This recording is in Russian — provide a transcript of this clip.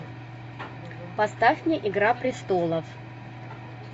поставь мне игра престолов